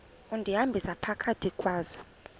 undihambisa phakathi kwazo